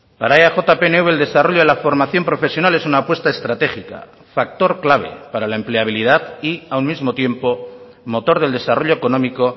para eaj pnv el desarrollo de la formación profesional es una apuesta estratégica factor clave para la empleabilidad y a un mismo tiempo motor del desarrollo económico